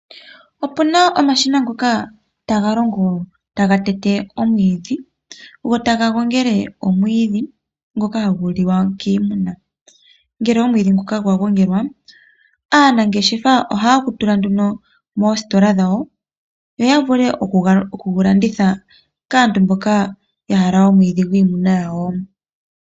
Opu na omashina ngoka taga longo taga tete omwiidhi go taga gongele omwiidhi ngoka hagu liwa kiimuna. Ngele omwiidhi nguka gwa gongelwa aanangeshefa ohaya tula nduno moositola dhawo yo ya vule oku gu landitha kaantu mboka ya hala omwiidhi gwiimuna yawo.